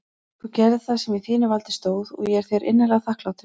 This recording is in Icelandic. Þú gerðir það sem í þínu valdi stóð og ég er þér innilega þakklátur.